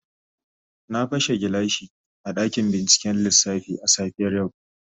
Na pashe gilashi a dakin binciken lissafi a safiyar yau.